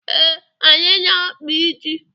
Ee, anyị na-akpa isi.